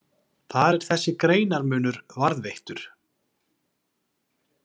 Þar er þessi greinarmunur varðveittur.